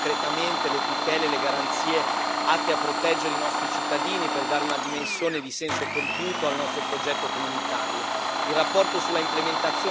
Dobbiamo essere capaci di espandere concretamente le tutele e le garanzie atte a proteggere i nostri cittadini per dare una dimensione di senso compiuto al nostro progetto comunitario.